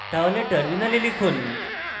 terminal লিখুন